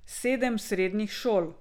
Sedem srednjih šol.